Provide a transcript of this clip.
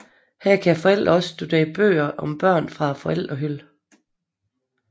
Her kan forældrene også studere bøger om børn fra forældrehylden